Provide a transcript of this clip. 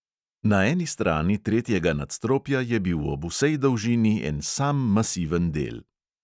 Na eni strani tretjega nadstropja je bil ob vsej dolžini en sam masiven del.